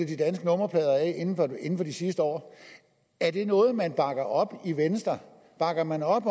de danske nummerplader af inden for de sidste år er det noget man bakker op i venstre bakker man op